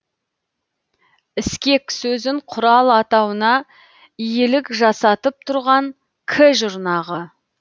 іскек сөзін құрал атауына иелік жасатып тұрған к жұрнағы